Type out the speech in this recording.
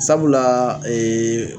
Sabula